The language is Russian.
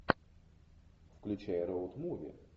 включай роуд муви